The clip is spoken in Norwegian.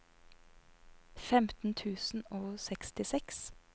femten tusen og sekstiseks